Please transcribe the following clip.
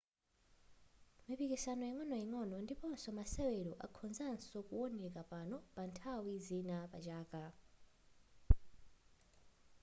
mipikisano ingo'noing'ono ndiponso masewero akhozanso kuwoneka pano pa nthawi zina pachaka